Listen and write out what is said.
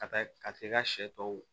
Ka taa ka t'i ka sɛ tɔw